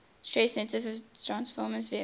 stress sensitive transfersome vesicles